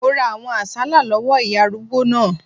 Mo ra àwọn àsálà lọ́wọ́ ìyá arúgbó náà